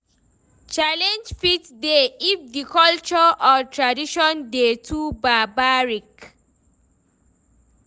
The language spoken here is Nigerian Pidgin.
Challenge fit dey if di culture or tradition dey too barbaric